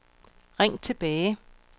ring tilbage